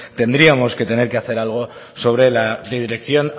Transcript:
tendríamos que tener que hacer algo sobre la dirección